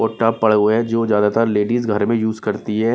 कोठा पड़े हुए हैंजो ज्यादातर लेडीज घर में यूज करती है।